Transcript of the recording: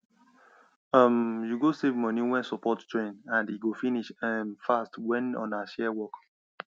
um you go save money wen support join and e go finish um fast when una share work